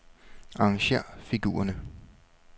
Arrangér figurerne.